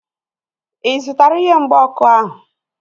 Ị zụtara ihe mgba ọkụ ahu?